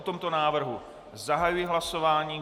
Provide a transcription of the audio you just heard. O tomto návrhu zahajuji hlasování.